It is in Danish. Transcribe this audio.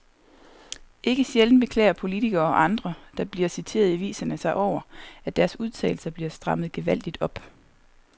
Ikke sjældent beklager politikere og andre, der bliver citeret i aviserne sig over, at deres udtalelser bliver strammet gevaldigt op.